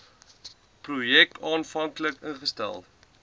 projek aanvanklik ingestel